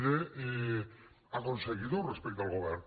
d’aconseguidor respecte al govern